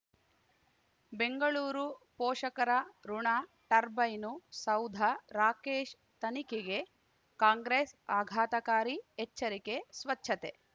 ಬೆಂಗಳೂರು ಪೋಷಕರಋಣ ಟರ್ಬೈನು ಸೌಧ ರಾಕೇಶ್ ತನಿಖೆಗೆ ಕಾಂಗ್ರೆಸ್ ಆಘಾತಕಾರಿ ಎಚ್ಚರಿಕೆ ಸ್ವಚ್ಛತೆ